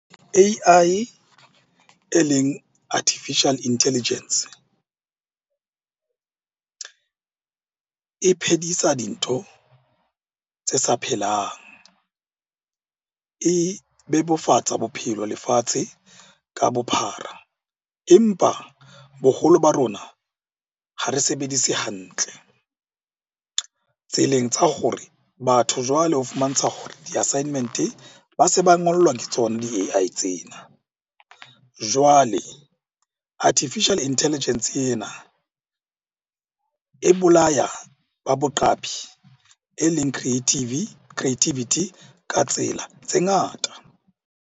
A_I e leng Artificial Intelligence e phedisa dintho tse sa phelang. E bebofatsa bophelo lefatshe ka bophara, empa boholo ba rona ha re sebedise hantle. Tseleng tsa hore batho jwale ho fumantsha hore di-assignment-e ba se ba ngollwa ke tsona di-A_I tsena. Jwale Artificial Intelligence ena e bolaya ba boqapi, e leng creativity ka tsela tse ngata.